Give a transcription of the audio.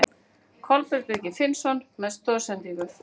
Kolbeinn Birgir Finnsson með stoðsendingu.